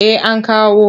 Eh an kawo.